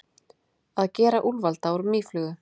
Að gera úlfalda úr mýflugu